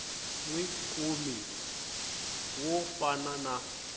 wi kumi wo fana na